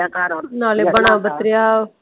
ਨਾਲੇ ਬਣਿਆ ਬਤਰਿਆ ।